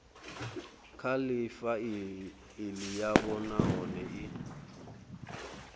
kha faili yavho nahone i